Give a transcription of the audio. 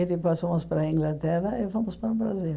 E depois fomos para a Inglaterra e fomos para o Brasil.